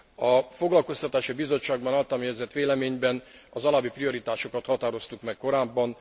A Foglalkoztatási Bizottságban általam jegyzett véleményben az alábbi prioritásokat határoztuk meg korábban.